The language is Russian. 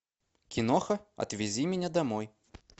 киноха отвези меня домой